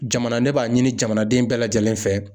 Jamana ne b'a ɲini jamanaden bɛɛ lajɛlen fɛ.